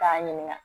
K'a ɲininka